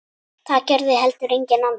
Það gerði heldur enginn annar.